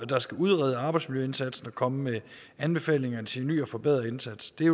der skal udrede arbejdsmiljøindsatsen og komme med anbefalinger til en ny og forbedret indsats det